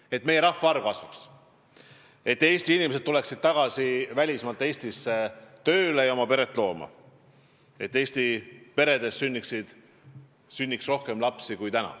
Ja et meie rahvaarv kasvaks, et Eesti inimesed tuleksid tagasi välismaalt Eestisse tööle ja peret looma, et Eesti peredes sünniks rohkem lapsi kui täna.